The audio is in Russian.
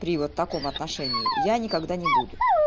при вот таком отношении я никогда не буду